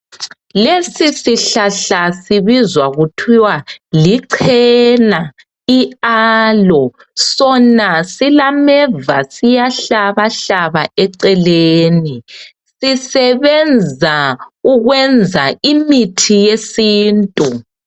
Lesi sihlahla sibizwa kuthiwa lichena,i"aloe".Sona silameva siyahlaba hlaba eceleni. Sisebenza ukwenza imithi yesintu.